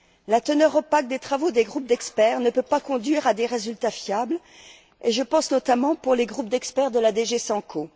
La teneur opaque des travaux des groupes d'experts ne peut pas conduire à des résultats fiables et je pense notamment aux groupes d'experts de la DG SANCO.